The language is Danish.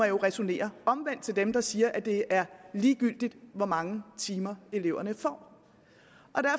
jo ræsonnere omvendt til dem der siger at det er ligegyldigt hvor mange timer eleverne